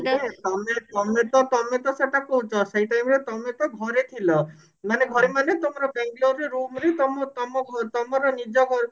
ତମେ ତମେ ତ ତମେ ତ ସେଟା କହୁଛ ସେଇ time ରେ ତମେ ତ ଘରେ ଥିଲ ମାନେ ଘରେ ମାନେ ତମର ବେଙ୍ଗେଲୋରରେ room ରେ ତମ ତମ ତମ ତମର ନିଜ ଘରେ